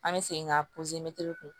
An bɛ segin ka